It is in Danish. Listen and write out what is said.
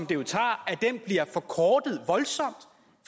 jo tager bliver forkortet voldsomt